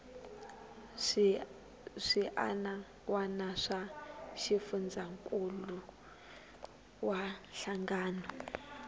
swiana wana swa xifundzankuluwa hlangano